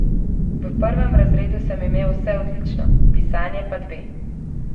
V prvem razredu sem imel vse odlično, pisanje pa dve.